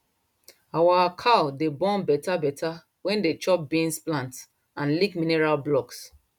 our cow dey born better better when dem chop beans plant and lick mineral blocks